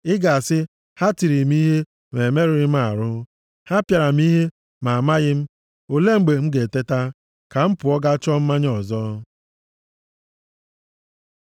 Ị ga-asị, “Ha tiri m ihe, ma emerụghị m ahụ. Ha pịara m ihe, ma amaghị m. Olee mgbe m ga-eteta, ka m pụọ ga chọọ mmanya ọzọ?”